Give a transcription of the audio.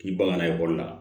K'i bangena ekɔli la